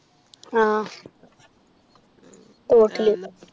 ആഹ് തോട്ടില്